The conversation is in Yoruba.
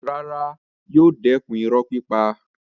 Rárá, yóò dẹ̀kun irọ́ pípa.